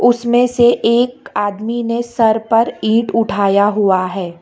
उसमें से एक आदमी ने सर पर ईंट उठाया हुआ है।